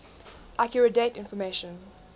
accurate date information